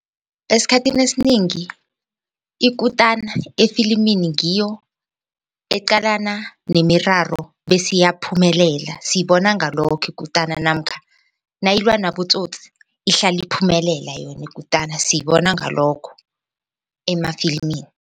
Esikhathini esinengi ikutana efilimini ngiyo eqalana nemiraro bese iyaphumelela siyibona ngalokho ikutana namkha nayilwa nabotsotsi ihlala iphumelela yona ikutana siyibona ngalokho emafilimini.